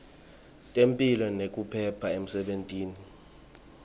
temphilo nekuphepha emsebentini